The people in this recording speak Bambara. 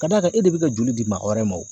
Ka d'a kan e de bɛ ka joli di mɔgɔ wɛrɛ ma wo.